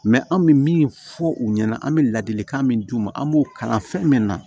an bɛ min fɔ u ɲɛna an bɛ ladilikan min d'u ma an b'o kalan fɛn min na